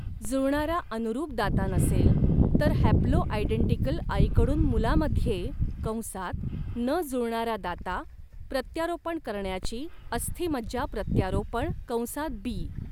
जुळणारा अनुरूप दाता नसेल, तर हॅप्लोआयडेंटिकल आईकडून मुलामध्ये कंसात न जुळणारा दाता प्रत्यारोपण करण्याची अस्थिमज्जा प्रत्यारोपण कंसात बी.